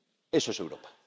Eso es Europa.